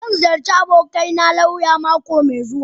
Zan ziyarci abokina lauya mako mai zuwa.